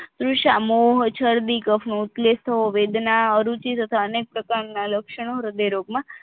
વીશામોહ ચરબી કફ નો ઉપલેટો વેદના રુચિ તથા અનેક પ્રકારના લક્ષણો હ્રદયરોગમાં